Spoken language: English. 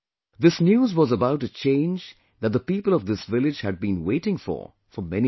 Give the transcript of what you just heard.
This news was about a change that the people of this village had been waiting for, for many years